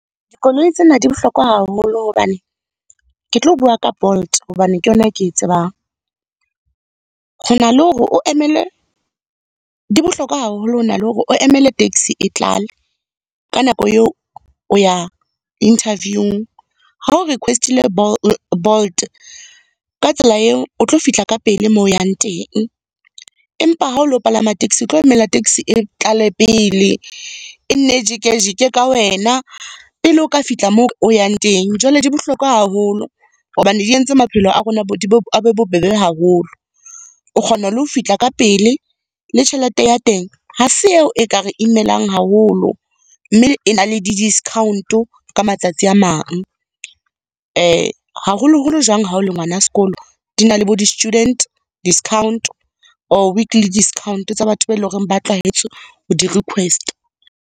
Dikoloi tsena di bohlokwa haholo hobane, ke tlo bua ka Bolt hobane ke yona ke tsebang. Ho na le hore o emele, di bohlokwa haholo, ho na le hore o emele taxi e tlale, ka nako eo o ya interviewing. Ha o request-ile Bolt, ka tsela eo o tlo fihla ka pele moo o yang teng. Empa ha o lo palama taxi, o tlo emela taxi e tlale pele, e nne e jike-jike ka wena, pele o ka fihla moo o yang teng. Jwale, di bohlokwa haholo hobane di entse maphelo a rona a be bobebe haholo. O kgona le ho fihla ka pele le tjhelete ya teng, ha se eo e kare imelang haholo. Mme e na le di-discount ka matsatsi a mang. Haholoholo jwang ha o le ngwana sekolo, di na le bo di-student discount, or weekly discount tsa batho ba eleng hore ba tlwahetse ho di request-a.